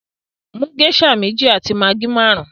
Mú geisha mẹ̀jì àti maggi márùn!